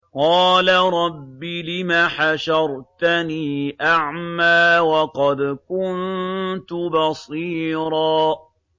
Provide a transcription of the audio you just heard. قَالَ رَبِّ لِمَ حَشَرْتَنِي أَعْمَىٰ وَقَدْ كُنتُ بَصِيرًا